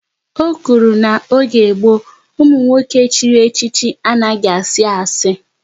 Ọ kwuru na n'oge gboo, ụmụ nwoke chiri echichi anaghị asị asi